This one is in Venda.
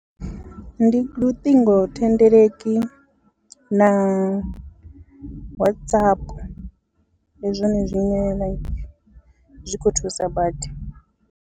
Ndi luṱingothendeleki na WhatsApp ndi zwone zwine like zwi khou thusa badi.